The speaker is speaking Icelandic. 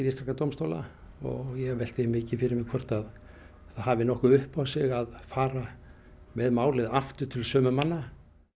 íslenskra dómstóla og ég velti því mikið fyrir mér hvort að það hafi nokkuð upp á sig að fara með málið aftur til sömu manna